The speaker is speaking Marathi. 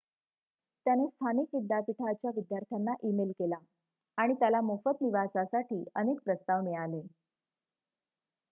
त्याने स्थानिक विद्यापीठाच्या विद्यार्थ्यांना ईमेल केला आणि त्याला मोफत निवासासाठी अनेक प्रस्ताव मिळाले